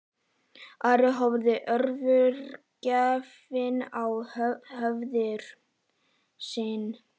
Ari horfði alvörugefinn á föður sinn.